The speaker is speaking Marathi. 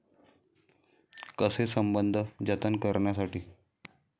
कसे संबंध जतन करण्यासाठी?